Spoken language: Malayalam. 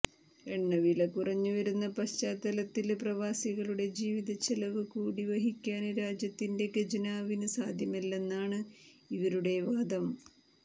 എണ്ണവില കുറഞ്ഞുവരുന്ന പശ്ചാത്തലത്തില് പ്രവാസികളുടെ ജീവിതച്ചെലവ് കൂടി വഹിക്കാന് രാജ്യത്തിന്റെ ഖജനാവിന് സാധ്യമല്ലെന്നാണ് ഇവരുടെ വാദം